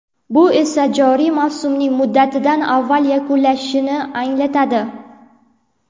Bu esa joriy mavsumning muddatidan avval yakunlanishini anglatadi.